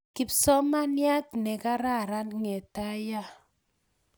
Kipsomamiat ne kararan ng'etaya